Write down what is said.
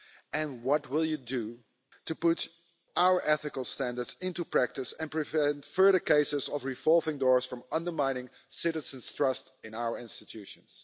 And what will you do to put our ethical standards into practice and prevent further cases of revolving doors from undermining citizens' trust in our institutions?